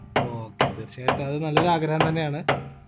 okay തീർച്ചയായിട്ടും അത് നല്ലൊരു ആഗ്രഹം തന്നെയാണ്